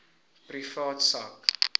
privaat sak